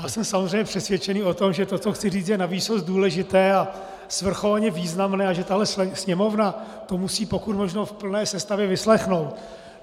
Já jsem samozřejmě přesvědčený o tom, že to, co chci říct, je navýsost důležité a svrchovaně významné a že tahle Sněmovna to musí pokud možno v plné sestavě vyslechnout.